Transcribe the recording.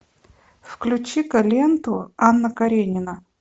включи ка ленту анна каренина